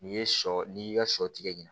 N'i ye sɔ n'i y'i ka sɔ tigɛ ɲin